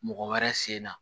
Mɔgɔ wɛrɛ sen na